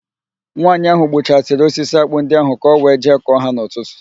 Nwaanyị ahụ gbuchasịrị osisi ákpụ́ ndị ahụ ka ọ wee jee kọọ ha n'ụtụtụ.